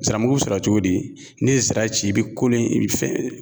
Ziramugu sɔrɔ cogo di? N'i ye zira ci i be kolo i be fɛn